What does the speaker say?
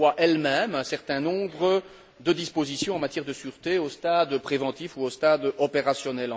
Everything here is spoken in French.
Elle revoit elle même un certain nombre de dispositions en matière de sûreté, au stade préventif ou au stade opérationnel.